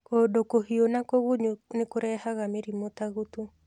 Kũndũ kũhiũ na kũgunyu nĩkũrehaga mĩrimũ ta gutu